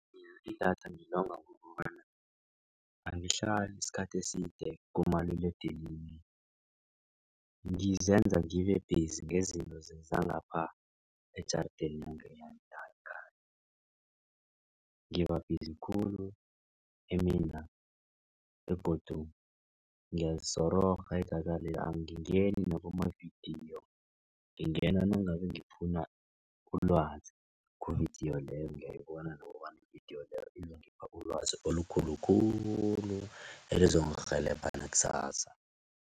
Idatha ngilonga ngokobanyana angahlali isikhathi eside kumaliledinini. Ngizenza ngibebhizi ngezinto zangapha ejarideni na ngibabhizi khulu emina begodu ngiyalisororha idathale angingeni nakumavidiyo. Ngingena nangabe ngifuna ulwazi kuvidiyo leyo ngiyayibona nokobana ividiyo leyo izongipha ulwazi olukhulu khulu elizongirhelebha nakusasa.